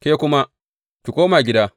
Ke kuma, ki koma gida.